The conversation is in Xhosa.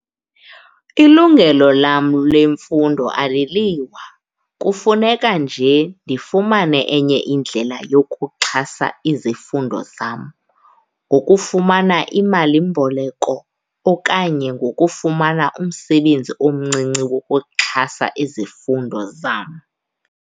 Ilungelo lam lemfundo aliliwa, kufuneka nje ndifumane enye indlela yokuxhasa izifundo zam ngokufumana imalimboleko okanye ngokufumana umsebenzi omncinci wokuxhasa izifundo zam.